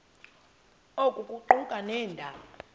oku kuquka nabeendaba